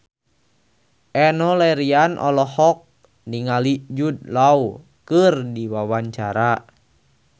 Enno Lerian olohok ningali Jude Law keur diwawancara